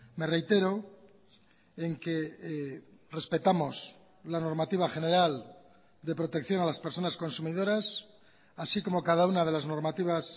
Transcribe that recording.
me reitero en que respetamos la normativa general de protección a las personas consumidoras así como cada una de las normativas